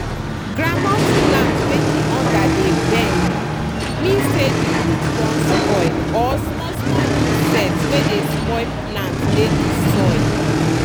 groundnut plant wey di under dey bend mean say di root don spoil or small small insect wey dey spoil plant dey di soil.